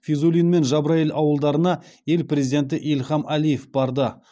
физулин мен джабраиль аудандарына ел президенті ильхам әлиев барды